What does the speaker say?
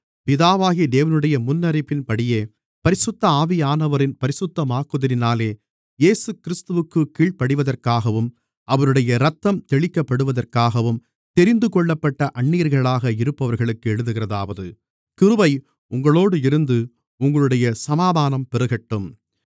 பிதாவாகிய தேவனுடைய முன்னறிவின்படியே பரிசுத்த ஆவியானவரின் பரிசுத்தமாக்குதலினாலே இயேசுகிறிஸ்துவிற்கு கீழ்ப்படிவதற்காகவும் அவருடைய இரத்தம் தெளிக்கப்படுவதற்காகவும் தெரிந்துகொள்ளப்பட்ட அந்நியர்களாக இருப்பவர்களுக்கு எழுதுகிறதாவது கிருபை உங்களோடு இருந்து உங்களுடைய சமாதானம் பெருகட்டும்